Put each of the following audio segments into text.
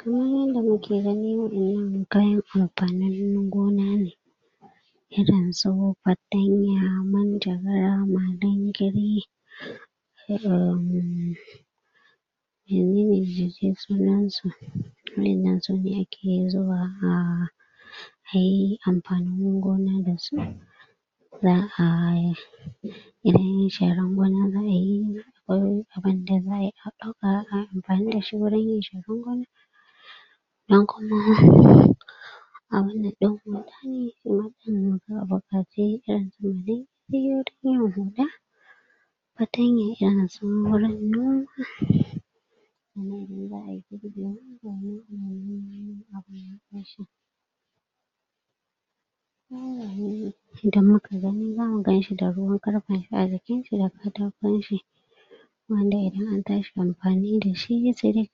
Kamar yanda mu ke gani waƴannan kayan amfanin gona ne irin su patanya, manjagara, malingari irin sunan su waƴannan su ne a ke zuba a ka yi amfani gona da su zaa idan sharan gona zaa yi ko abunda zaa yi a dauka a yi amfani gurin yin sharan gona dan kuma abunda dan gona ne wayanda zaa bukatai patanya, irin su wurin noma inda mu ka gani za mu gan shi da ruwan karfen shi a jikin shi da katakon shi wanda idan an tashi amfani da shi, sai dai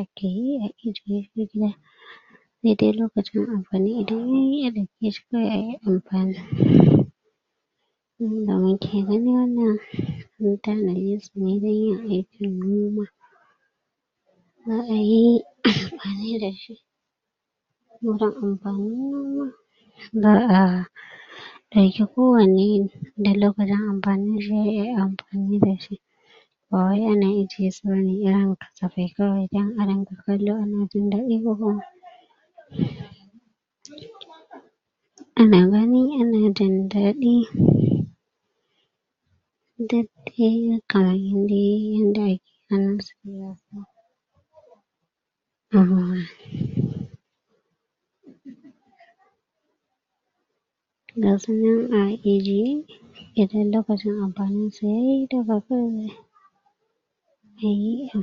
a ke yi, a ijye shi daidai lokacin amfani idan ya yi, ya dauke shi kawai ya yi amfani inda mu ke gani wannan su nai dai a aikin noma zaa yi amfani da shi wurin amfanin noma zaa dauki kowanne da lokacin amfani da shi, ya yi amfani da shi ba wai ya na ije su bane, irin katafai kawai dan a rinka kallo a na jin dadi a na gani, a na jindadi daidai karayi dai yanda a ke ah ga su nan a ijiye idan lokacin amfani da su ya yi da ba kawai ya yi am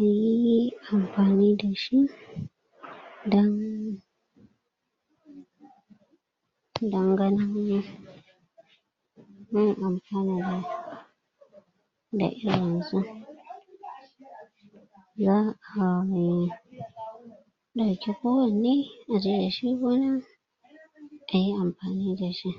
ya yi amfani da shi dan dan ganin da irin su zaa yi dauki kowanne, a je da shi gona a yi amfani da shi